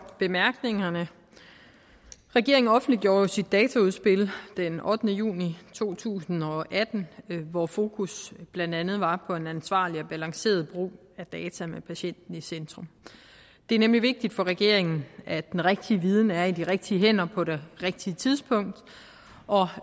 bemærkningerne regeringen offentliggjorde jo sit dataudspil den ottende juni to tusind og atten hvor fokus blandt andet var på en ansvarlig og balanceret brug af data med patienten i centrum det er nemlig vigtigt for regeringen at den rigtige viden er i de rigtige hænder på det rigtige tidspunkt og